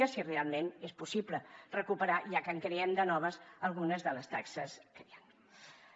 i si realment és possible recuperar ja que en creem de noves algunes de les taxes que hi han